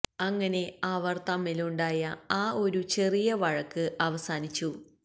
അങ്ങനെ അവർ തമ്മിലുണ്ടായ ആ ഒരു ചെറിയ വഴക്ക് അവസാനിച്ചു